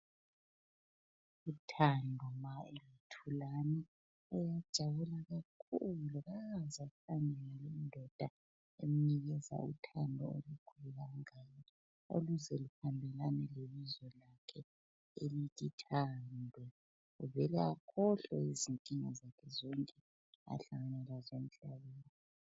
Uyajabula kakhulu ukuthola indoda emnikeza uthando olukhulu kangaka oluze lihambelane lebizo lakhe elithi Thando. Uvele akhohlwe izinkinga zakhe zonke ahlangana lazo emhlabeni.